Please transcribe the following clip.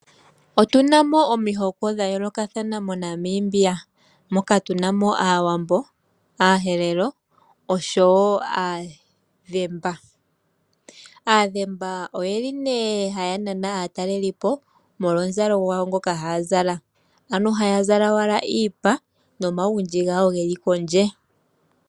Otuna mo omihoko dha yoolokathana moNamibia. Moka tuna mo aawambo, aaherero osho wo aadhemba. Aadhemba oyeli nee haya nana aatalelipo molwa omuzalo gwawo ngoka haa zala, ano haya zala owala iipa nomagundji gawo geli kondje.